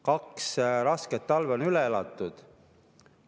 Kaks rasket talve on üle elatud.